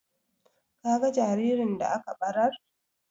Ka ga jaririn da aka ɓarar?